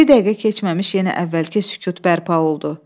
Bir dəqiqə keçməmiş yenə əvvəlki sükut bərpa oldu.